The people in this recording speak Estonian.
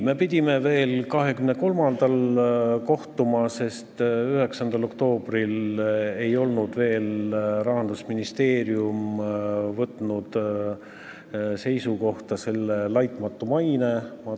Me pidime veel kohtuma 23. oktoobril, sest 9. oktoobriks ei olnud Rahandusministeerium võtnud seisukohta sõnaühendi "laitmatu maine" kohta.